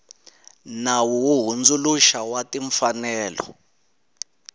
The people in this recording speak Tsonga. nawu wo hundzuluxa wa timfanelo